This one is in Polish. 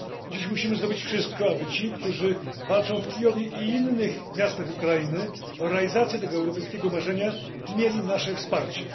Dziś musimy zrobić wszystko, aby ci, którzy walczą w Kijowie lub innych miastach Ukrainy o realizację tego europejskiego marzenia, mieli nasze wsparcie.